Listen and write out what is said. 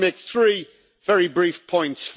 I want to make three very brief points.